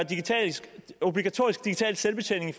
obligatorisk digital selvbetjening i